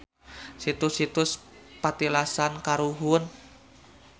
Situs-situs patilasan karuhun.